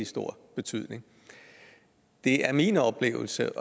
stor betydning det er min oplevelse